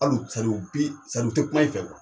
Al'u bi u tɛ kuma i fɛ